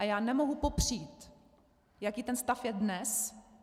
A já nemohu popřít, jaký ten stav je dnes.